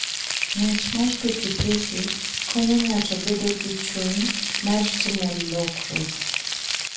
Ng'wech mar pikipiki konyo ng'ato bedo gi chuny mar timo lokruok.